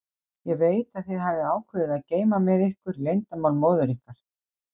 Ég veit að þið hafið ákveðið að geyma með ykkur leyndarmál móður ykkar.